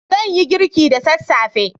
Zan yi girki da sassafe.